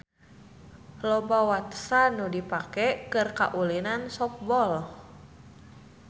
Loba watesan nu dipake keur kaulinan softball.